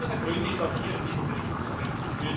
Einer der Gründe ist auch hier in diesem Bericht zu finden.